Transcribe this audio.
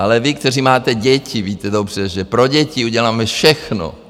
Ale vy, kteří máte děti víte dobře, že pro děti uděláme všechno.